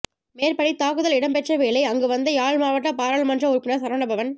மேற்படி தாக்குதல் இடம் பெற்ற வேளை அங்கு வந்த யாழ் மாவட்டப் பாராளுமன்ற உறுப்பினர் சரவணபவன்